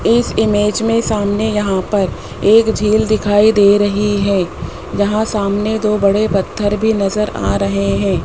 इस इमेज में सामने यहां पर एक झील दिखाई दे रही है जहां सामने दो बड़े पत्थर भी नजर आ रहे हैं।